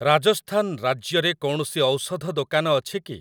ରାଜସ୍ଥାନ ରାଜ୍ୟରେ କୌଣସି ଔଷଧ ଦୋକାନ ଅଛି କି?